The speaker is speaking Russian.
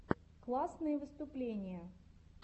классные выступления